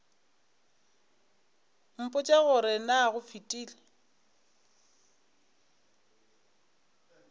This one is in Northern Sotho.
mpotše gore na go fetile